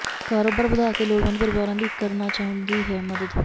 ਕਾਰੋਬਾਰ ਵਧਾ ਕੇ ਲੋੜਵੰਦ ਪਰਿਵਾਰਾਂ ਦੀ ਕਰਨਾ ਚਾਹੁੰਦੀ ਹੈ ਮਦਦ